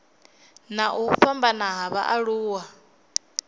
na u fhambana ha vhaaluwa